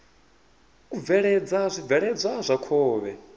u bveledza zwibveledzwa zwa khovhe